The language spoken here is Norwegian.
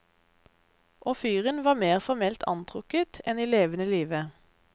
Og fyren var mer formelt antrukket enn i levende live.